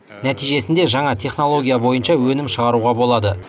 нәтижесінде жаңа технология бойынша өнім шығаруға болады